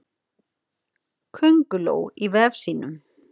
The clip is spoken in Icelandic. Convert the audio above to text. Könguló í vef sínum.